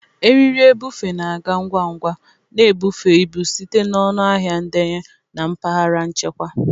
Eriri ebufe na-aga ngwa ngwa, na-ebufe ibu site na ọnụ ahịa ndenye na mpaghara nchekwa.